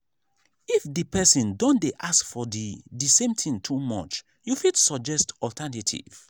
if di person don dey ask for the the same thing too much you fit suggest alternative